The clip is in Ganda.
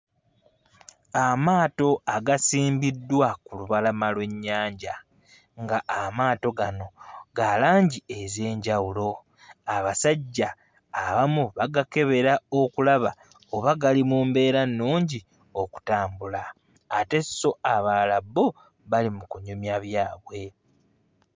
Amaato agasimbiddwa ku lubalama lw'ennyanja nga amaato gano ga langi ez'enjawulo. Abasajja abamu bagakebera okulaba oba gali mu mbeera nnungi okutambula ate so abalala bo bali mu kunyumya byabwe.